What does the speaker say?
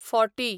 forty